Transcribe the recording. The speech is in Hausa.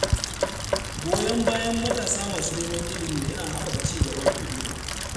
Goyon bayan matasa masu neman ilimi yana haɓaka cigaban al’umma.